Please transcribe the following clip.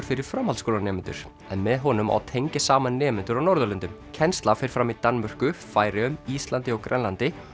fyrir framhaldsskólanemendur en með honum á að tengja saman nemendur á Norðurlöndum kennslan fer fram í Danmörku Færeyjum Íslandi og Grænlandi